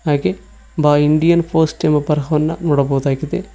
ಹಾಗೇ ಬ Indian post ಎಂಬ ಬರಹವನ್ನ ನೋಡಬಹುದಾಗಿದೆ.